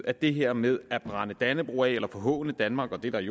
at det her med at brænde dannebrog af eller forhåne danmark og det der i